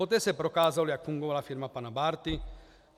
Poté se prokázalo, jak fungovala firma pana Bárty.